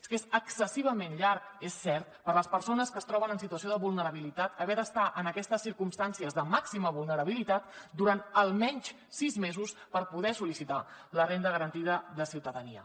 és que és excessivament llarg és cert per a les persones que es troben en situació de vulnerabilitat haver d’estar en aquestes circumstàncies de màxima vulnerabilitat durant almenys sis mesos per poder sol·licitar la renda garantida de ciutadania